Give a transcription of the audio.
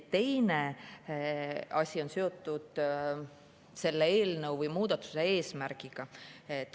Teine asi on seotud selle eelnõu või muudatuse eesmärgiga.